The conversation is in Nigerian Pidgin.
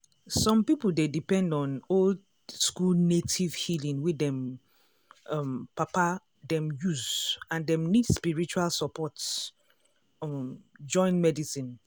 some people dey depend on old-school native healing wey dem um papa them use and dem need spiritual support um join medicine.